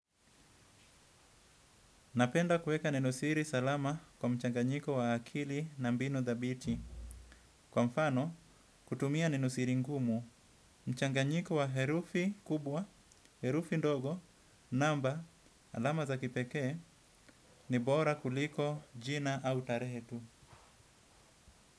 Napenda kuweka neno siri salama kwa mchanganyiko wa akili na mbinu dhabiti. Kwa mfano, kutumia nenosiri ngumu, mchanganyiko wa herufi kubwa, herufi ndogo, namba, alama za kipekee, ni bora kuliko jina au tarehe tu.